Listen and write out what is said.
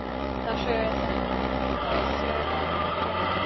Þá sögu þekkja margir.